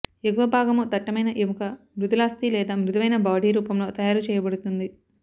ఎగువ భాగము దట్టమైన ఎముక మృదులాస్థి లేదా మృదువైన బాడీ రూపంలో తయారు చేయబడుతుంది